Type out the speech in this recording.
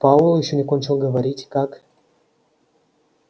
пауэлл ещё не кончил говорить как